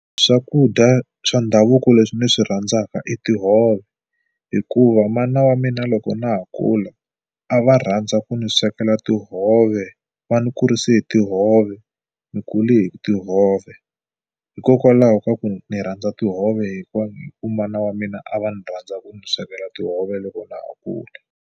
Swakudya swa ndhavuko leswi ni swi rhandzaka i tihove hikuva mana wa mina loko na ha kula a va rhandza ku ni swekela tihove va ni kurise hi tihove. Ni kule hi tihove hikokwalaho ka ku ni rhandza tihove hikuva ku mana wa mina a va ni rhandza ku mi swekela tihove loko na ha kula.